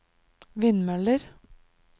vindmøller